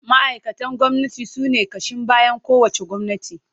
Ma’aikatan gwamnati sune ƙashin bayan kowace gwamnati.